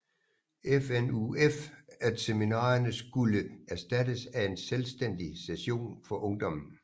FNUF at seminarerne skulle erstattes af en selvstændig session for ungdommen